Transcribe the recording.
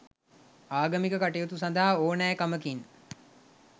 ආගමික කටයුතු සඳහා ඕනෑකමකින්